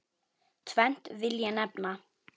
Tvennt vil ég nefna.